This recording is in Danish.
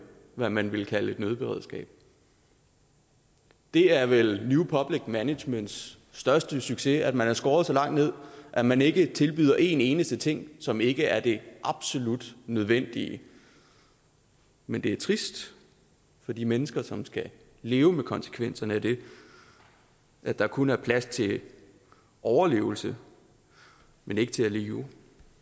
hvad man ville kalde et nødberedskab det er vel new public managements største succes at man har skåret så langt ned at man ikke tilbyder en eneste ting som ikke er det absolut nødvendige men det er trist for de mennesker som skal leve med konsekvenserne af det at der kun er plads til overlevelse men ikke til at leve